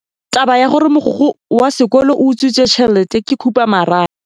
Taba ya gore mogokgo wa sekolo o utswitse tšhelete ke khupamarama.